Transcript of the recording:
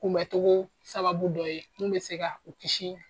Kunbɛ cogo sababu dɔ ye min bɛ se ka u kisi